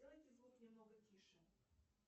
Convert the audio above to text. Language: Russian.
сделайте звук немного тише